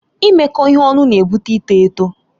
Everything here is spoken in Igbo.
Imekọ ihe ọnụ na-ebute ịtọ eto.